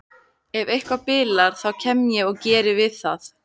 Ef eitthvað bilar þá kem ég og geri við það.